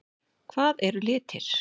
Hvað eru litir?